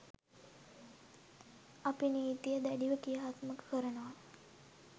අපි නීතිය දැඩිව ක්‍රියාත්මක කරනවා.